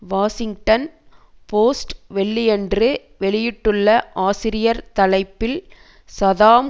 Washington Post வெள்ளியன்று வெளியிட்டுள்ள ஆசிரியர் தலைப்பில் சதாம்